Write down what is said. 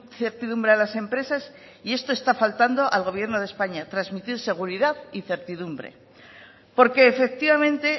certidumbre a las empresas y esto está faltando al gobierno de españa transmitir seguridad y certidumbre porque efectivamente